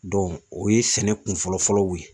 o ye sɛnɛ kun fɔlɔ-fɔlɔw ye